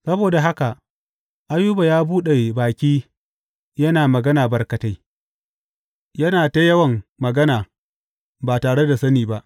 Saboda haka Ayuba ya buɗe baki yana magana barkatai; yana ta yawan magana ba tare da sani ba.